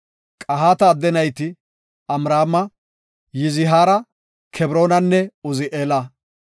Qahaata adde nayti Amraama, Yizihaara, Kebroonanne Uzi7eela.